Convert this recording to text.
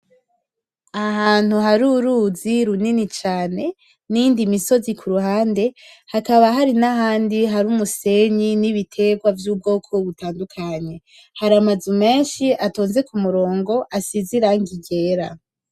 Ahantu hari uruzi runini cane n'iyindi misozi ku ruhande hakaba hari n'ahandi hari umusenyi n'ibitegwa vy'ubwoko butandukanye hari amazu menshi atonze kumurongo asize irangi ryera.